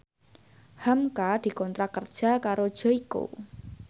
hamka dikontrak kerja karo Joyko